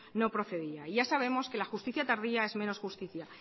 no procedía ya sabemos que la justicia tardía es menos justicia